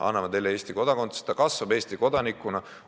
Anname talle Eesti kodakondsuse, ta kasvab Eesti kodanikuna.